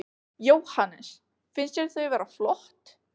Jóhannes: Finnst þér þau vera flott?